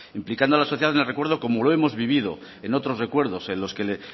implicando a la sociedad en el recuerdo como lo hemos vivido en otros recuerdos en los que le